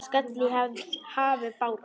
skall í hafi bára.